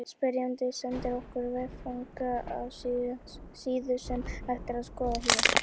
Spyrjandi sendi okkur veffang á síðu sem hægt er að skoða hér.